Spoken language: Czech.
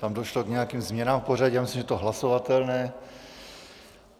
Tam došlo k nějakým změnám v pořadí, myslím, že to je hlasovatelné.